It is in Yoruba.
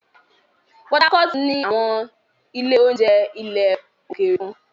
Port Harcourt ní àwọn ilé-oúnjẹ ilẹ̀ òkèèrè kan.